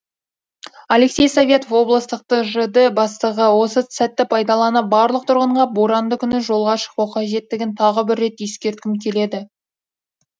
алексей советов облыстық тжд бастығы осы сәтті пайдаланып барлық тұрғынға боранды күні жолға шықпау қажеттігін тағы бір рет ескерткім келеді